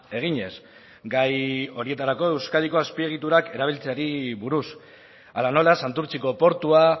eginez gai horietarako euskadiko azpiegiturak erabiltzeari buruz ala nola santurtziko portua